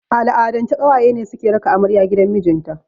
A al'adance ƙawaye ne suke raka amarya gidan mijinta